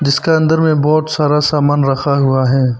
जिसके अंदर में बहुत सारा सामान रखा हुआ है।